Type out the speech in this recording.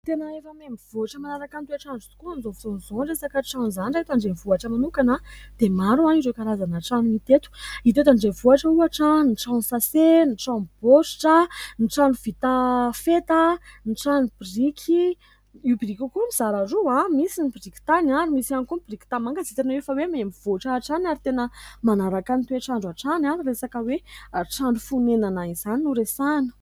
Tena efa miamivoatra manaraka ny toetr'andro tokoa amin'izao fotoana izao ny resaka trano izany raha ny eto andrenivohitra manokana dia maro ireo karazana trano hita eto. Hita eto andrenivohitra ohatra : ny trano sase, ny trano baoritra, ny trano vita feta, ny trano biriky. Io biriky io koa mizara roa : misy ny biriky tany, ary misy ihany koa ny biriky tany manga. Dia tena hoe miamivoatra hatrany. Ary tena manaraka ny toetr'andro hatrany ny resaka hoe trano fonenana izany no resahana.